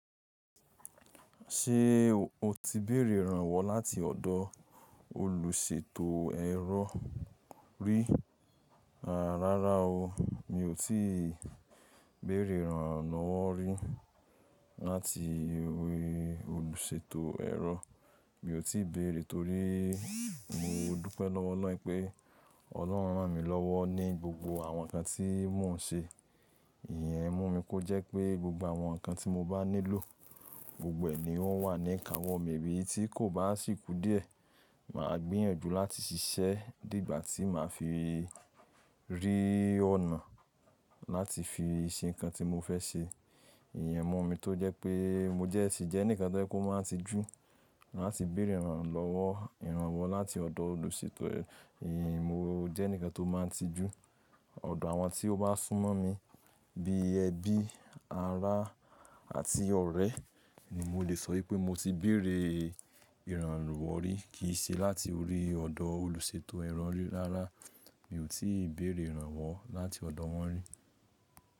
Ṣé o ti béèrè ìrànwọ́ láti ọ̀dọ̀ olùṣètò ẹ̀rọ rí? Rárá o, mi ò tí ì béèrè ìrànlọ́wọ́ rí láti orí olùṣètò ẹ̀rọ. Mi ò tí ì béèrè torí mo dúpẹ́ lọ́wọ́ Ọlọ́run pé Ọlọ́run rán mi lọ́wọ́ ní gbogbo àwọn nǹkan tí mò ń ṣe. Ìyẹn mú mi kó jẹ́ pé gbogbo àwọn nǹkan tí mo bá nílò, gbogbo ẹ̀ ní ó wà ní ìkáwọ́ mi, eyii tí kò bá sì kú díẹ̀. Mà á gbìyànjú láti ṣiṣẹ́ di igbà tí mà á fi rí ọ̀nà láti fi ṣe nǹkan tí mo fẹ́ ṣe. Ìyẹn mú mi tó jẹ́ pé mo dẹ́ sì jẹ́ nǹkan tó máa n tijù láti béèrè ìrànlọ́wọ́ ìrànwọ́ láti ọ̀dọ̀ olùṣètò ẹ̀rọ. Nnnn, mo jẹ́ enikkan tó máa n tijù. Ọ̀dọ̀ àwọn tí ó bá sún mọ́ mi bíi ẹbí, ará àti ọ̀rẹ́ ni mo lè sọ wípé mo ti béèrè ìrànlọ́wọ́ rí kì í ṣe láti orí ọ̀dọ̀ olùṣètò ẹ̀rọ rí. Rárá, mi ò tí ì béèrè ìrànwọ́ láti ọ̀dọ̀ wọ́n rí.